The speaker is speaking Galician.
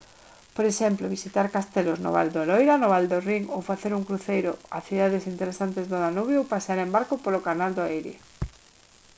por exemplo visitar castelos no val do loira no val do rhin ou facer un cruceiro a cidades interesantes no danubio ou pasear en barco polo canal do erie